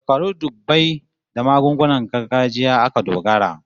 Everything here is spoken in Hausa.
Shekaru dubbai da magungunan gargajiya aka dogara